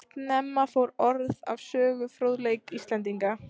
Snemma fór orð af sögufróðleik Íslendinga.